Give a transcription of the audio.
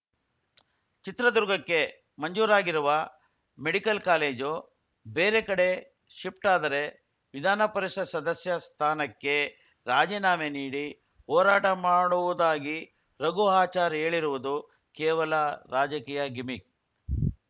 ಚಿತ್ರದುರ್ಗಕ್ಕೆ ಮಂಜೂರಾಗಿರುವ medical college ಬೇರೆ ಕಡೆ ಶಿಫ್ಟ್‌ ಆದರೆ ವಿಧಾನಪರಿಷತ್‌ ಸದಸ್ಯ ಸ್ಥಾನಕ್ಕೆ ರಾಜಿನಾಮೆ ನೀಡಿ ಹೋರಾಟ ಮಾಡುವುದಾಗಿ ರಘು ಆಚಾರ್‌ ಹೇಳಿರುವುದು ಕೇವಲ ರಾಜಕೀಯ ಗಿಮಿಕ್‌